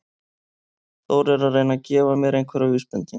Þór er að reyna að gefa mér einhverjar vísbendingar.